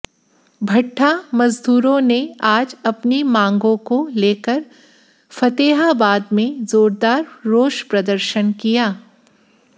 भट्ठा मजदूरों ने आज अपनी मांगों को लेकर फतेहाबाद में जोरदार रोष प्रदर्शन किया